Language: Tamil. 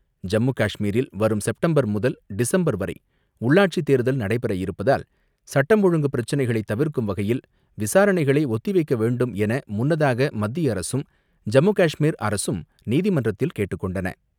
ஜம்மு காஷ்மீரில் வரும் செப்டம்பர் முதல் டிசம்பர் வரை உள்ளாட்சித் தேர்தல் நடைபெற இருப்பதால் சட்டம் ஒழுங்கு பிரச்னைகளை தவிர்க்கும் வகையில் விசாரணைகளை ஒத்திவைக்க வேண்டும் என முன்னதாக மத்திய அரசும், ஜம்மு காஷ்மீர் அரசும் நீதிமன்றத்தில் கேட்டுக் கொண்டன.